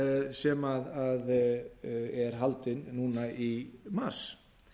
sem er haldinn núna í mars